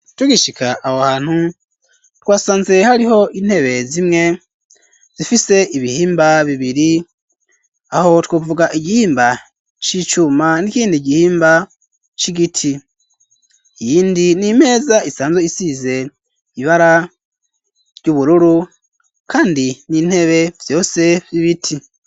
Tugishika aho hantu ,twasanze hariho intebe zimwe zifise ibihimba bibiri ,aho twovuga igihimba c'icuma ,n'ikindi igihimba c'igiti, iyindi n 'imeza isanze isize ibara ry'ubururu ,kandi n'intebe vyose 'z'ibiti.